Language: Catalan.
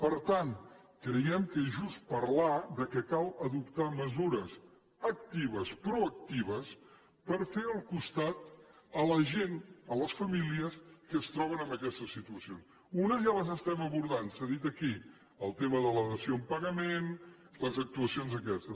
per tant creiem que és just parlar que cal adoptar mesures actives proactives per fer costat a la gent a les famílies que es troben en aquestes situacions unes ja les estem abordant s’ha dit aquí el tema de la dació en pagament les actuacions aquestes